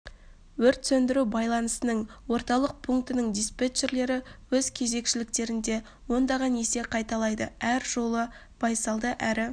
өрт сөндіру байланысының орталық пункінің диспетчерлері өз кезекшіліктерінде ондаған есе қайталайды әр жолы байсалды әрі